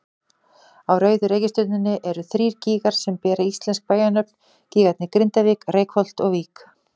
Á rauðu reikistjörnunni eru þrír gígar sem bera íslensk bæjarnöfn, gígarnir Grindavík, Reykholt og Vík.